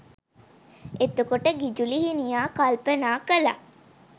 එතකොට ගිජු ලිහිණියා කල්පනා කළා